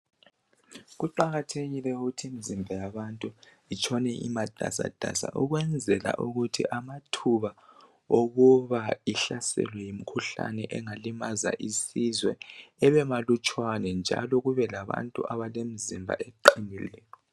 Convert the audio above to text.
Kuqakathekile ukuthi imizimba yabantu itshone imatasatasa. Ukwenzela ukuthi amathuba oku ihlaselwe yimikhuhlane engalimaza isizwe ebemalutshwana njalo kube labantu abalemizimba eqinileyo.